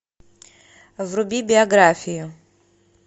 вруби биографию